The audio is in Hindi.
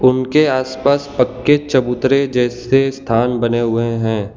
उनके आसपास पक्के चबूतरे जैसे स्थान बने हुए हैं।